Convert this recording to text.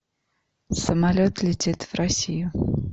самолет летит в россию